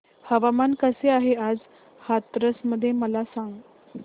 हवामान कसे आहे आज हाथरस मध्ये मला सांगा